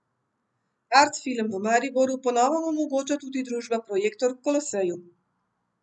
Art film v Mariboru po novem omogoča tudi družba Projektor v Koloseju.